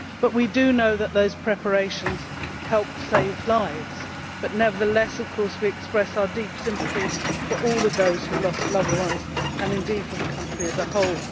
We know that those preparations helped save lives, but we nevertheless express our deep sympathy for all of those who lost loved ones, and indeed for the country as a whole.